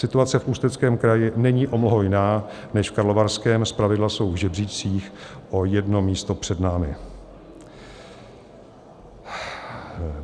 Situace v Ústeckém kraji není o mnoho jiná než v Karlovarském, zpravidla jsou v žebříčcích o jedno místo před námi.